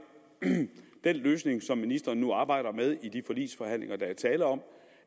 den løsning som ministeren nu arbejder med i de forligsforhandlinger der er tale om